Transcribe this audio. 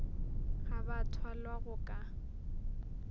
ga ba thwalwa go ka